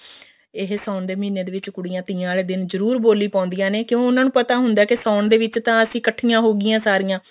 ਇਹ ਸਾਉਣ ਦੇ ਮਹੀਨੇ ਵਿੱਚ ਕੁੜੀਆਂ ਤੀਆਂ ਵਾਲੇ ਦਿਨ ਜਰੁਰ ਬੋਲੀ ਪਾਉਂਦੀਆਂ ਨੇ ਕਿਉਂ ਉਹਨਾ ਨੂੰ ਪਤਾ ਹੁੰਦਾ ਕੇ ਸਾਉਣ ਦੇ ਵਿੱਚ ਤਾਂ ਅਸੀਂ ਇੱਕਠੀਆਂ ਹੋਗੀਆਂ ਸਾਰੀਆਂ